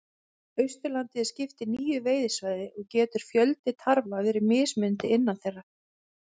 Austurlandi er skipt í níu veiðisvæði og getur fjöldi tarfa verið mismunandi innan þeirra.